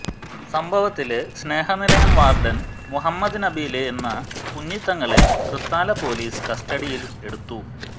സംഭവത്തില് സ്നേഹനിലയം വാര്ഡന് മുഹമ്മദ് നബീല് എന്ന കുഞ്ഞിത്തങ്ങളെ തൃത്താല പോലീസ് കസ്റ്റഡിയില് എടുത്തു